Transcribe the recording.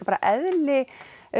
bara eðli